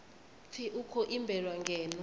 pfi u khou imbelwa ngeno